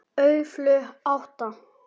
Öflug átta.